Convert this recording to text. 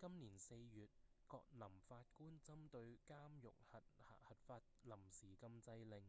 今年四月葛林法官針對監獄核發臨時禁制令